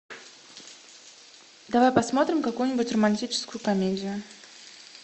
давай посмотрим какую нибудь романтическую комедию